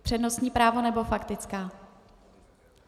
Přednostní právo, nebo faktická?